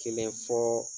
Kelen fɔ